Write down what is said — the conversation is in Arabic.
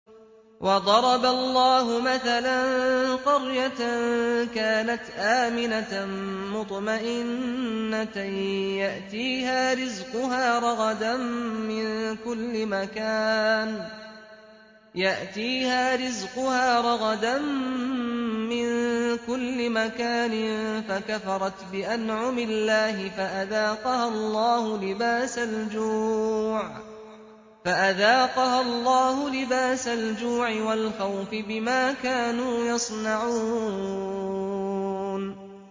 وَضَرَبَ اللَّهُ مَثَلًا قَرْيَةً كَانَتْ آمِنَةً مُّطْمَئِنَّةً يَأْتِيهَا رِزْقُهَا رَغَدًا مِّن كُلِّ مَكَانٍ فَكَفَرَتْ بِأَنْعُمِ اللَّهِ فَأَذَاقَهَا اللَّهُ لِبَاسَ الْجُوعِ وَالْخَوْفِ بِمَا كَانُوا يَصْنَعُونَ